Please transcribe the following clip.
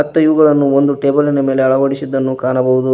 ಮತ್ತು ಇವುಗಳನ್ನು ಒಂದು ಟೇಬಲಿ ನ ಮೇಲೆ ಅಳವಡಿಸಿದ್ದನ್ನು ಕಾಣಬಹುದು.